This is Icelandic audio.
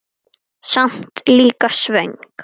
Samt líka svöng.